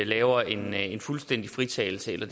laver en en fuldstændig fritagelse eller